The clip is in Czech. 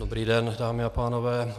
Dobrý den, dámy a pánové.